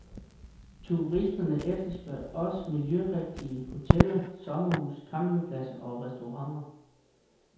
Turisterne efterspørger også miljørigtige hoteller, sommerhuse, campingpladser og restauranter.